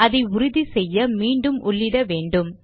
அதை உறுதிசெய்ய மீண்டும் உள்ளிட்ட வேண்டும்